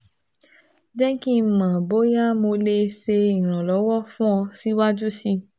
Jẹ ki n mọ boya Mo le ṣe iranlọwọ fun ọ siwaju sii